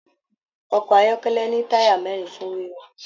Ọkọ ayọkẹlẹ ní taya mẹrin fún wiwà.